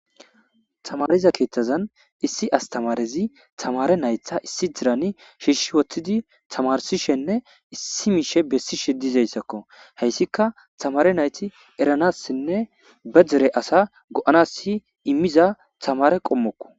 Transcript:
tamariza keeththazan issi astamarezi tamare naytha issi dirani shiishshi wottidi tamarsishenne issi miishe bessishe dizayssakko heyssika tamare nayti eranassinne ba dere asa go7anas si immiza tamare qommokko